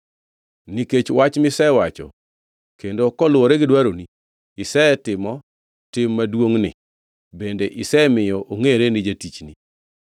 Nikech wach misewacho kendo koluwore gi dwaroni, isetimo tim maduongʼni bende isemiyo ongʼere ni jatichni.